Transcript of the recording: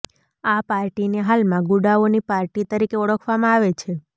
આ પાર્ટીને હાલમાં ગુડાઓની પાર્ટી તરીકે ઓળખવામાં આવે છે